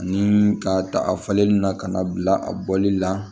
Ani ka ta a falenli na ka na bila a bɔli la